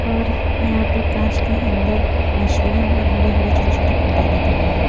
और यहां पर कांच के अंदर मछलियां और हरे-हरे छोटे-छोटे पौधे दिख रहे हैं।